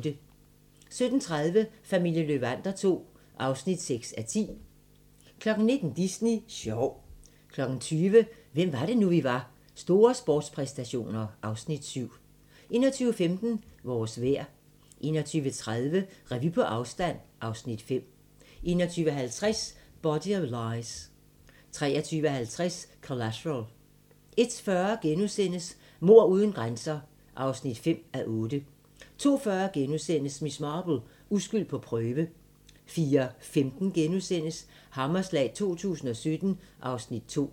17:30: Familien Löwander II (6:10) 19:00: Disney sjov 20:00: Hvem var det nu, vi var - Store sportspræstationer (Afs. 7) 21:15: Vores vejr 21:30: Revy på afstand (Afs. 5) 21:50: Body of Lies 23:50: Collateral 01:40: Mord uden grænser (5:8)* 02:40: Miss Marple: Uskyld på prøve * 04:15: Hammerslag 2017 (Afs. 2)*